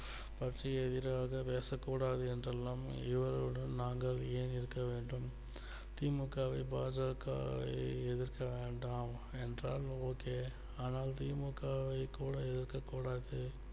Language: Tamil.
பசி எதிராக பேசக்கூடாது என்றெல்லாம் இவரோடு நாங்கள் ஏன் இருக்க வேண்டும் தி மு க வை பா ஜ க எதிர்க்க வேண்டாம் என்றால் okay ஆனால் தி மு க வை கூட இருக்கக் கூடாது